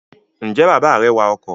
Ǹjẹ́ bàbá rẹ wa ọkọ̀?